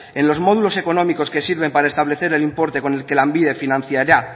en los módulos económicos que sirven para establecer el importe con el que lanbide financiará